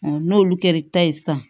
n'olu kɛra ta ye sisan